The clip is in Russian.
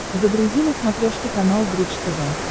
загрузи на смотрешке канал бридж тв